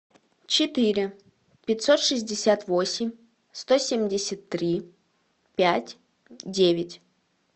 четыре пятьсот шестьдесят восемь сто семьдесят три пять девять